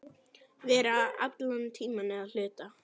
Vera allan tímann eða hluta.